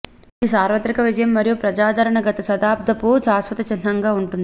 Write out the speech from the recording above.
ఇది సార్వత్రిక విజయం మరియు ప్రజాదరణ గత దశాబ్దపు శాశ్వత చిహ్నంగా ఉంటుంది